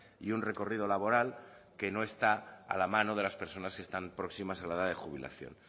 y un recorrido laboral que no está a la mano de las personas que están próximas a la edad de jubilación